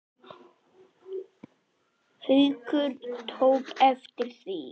Haukur tók eftir því.